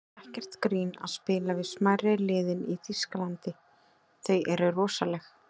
Það er ekkert grín að spila við smærri liðin í Þýskalandi, þau eru rosaleg.